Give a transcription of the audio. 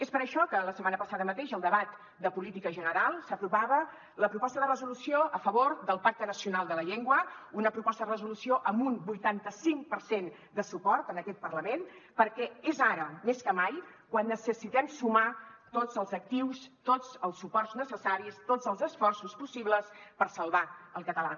és per això que la setmana passada mateix al debat de política general s’aprovava la proposta de resolució a favor del pacte nacional per la llengua una proposta de resolució amb un vuitanta cinc per cent de suport en aquest parlament perquè és ara més que mai quan necessitem sumar tots els actius tots els suports necessaris tots els esforços possibles per salvar el català